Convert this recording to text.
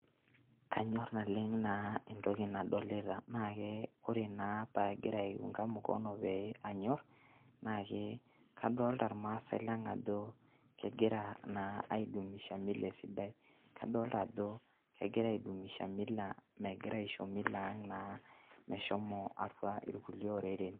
Kanyorr naleng' naa entoki nadolita, oree naa paagira aunta mikono kegira naa aidumisha emila sidai kadolita ajo mmegira aisho emila Ang meshomo kulie oreren.